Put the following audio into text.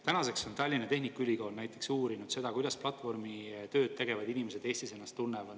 Tänaseks on Tallinna Tehnikaülikool näiteks uurinud seda, kuidas platvormitööd tegevad inimesed Eestis ennast tunnevad.